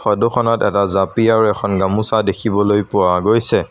Photo খনত এটা জাপি আৰু এখন গামোচা দেখিবলৈ পোৱা গৈছে।